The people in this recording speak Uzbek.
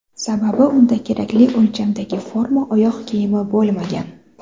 Sababi unda kerakli o‘lchamdagi forma oyoq kiyimi bo‘lmagan.